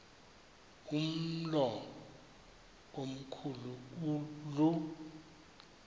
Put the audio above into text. umlo omkhu lu